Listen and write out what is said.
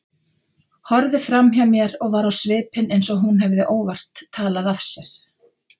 Horfði framhjá mér og var á svipinn eins og hún hefði óvart talað af sér.